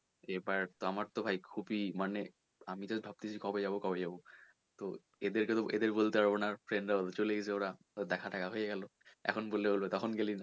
এবার দিয়ে আমার তো ভাই খুবই মানে আমিতো ভাবছি কবে যাবো কবে যাবো তো এদের কে তো এদের বলতে পারবো না চলে গেছে ওরা দেখা ফেখা হয়ে গেলো এখন বললে বলবে তখন গেলি না